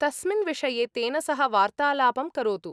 तस्मिन् विषये तेन सह वार्तालापं करोतु।